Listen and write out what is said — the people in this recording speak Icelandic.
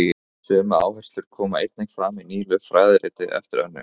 Sömu áherslur koma einnig fram í nýlegu fræðiriti eftir Önnu